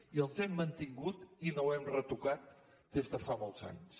i els hem mantingut i no ho hem retocat des de fa molts anys